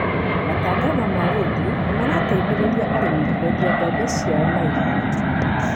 Matangatho ma rĩndiũ nĩ marateithĩrĩria arĩmi kũendia mbembe ciao na ihenya.